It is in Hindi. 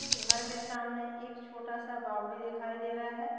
उस घर के सामने एक छोटा सा बावड़ी दिखाई दे रहा है।